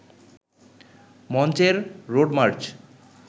মঞ্চের road March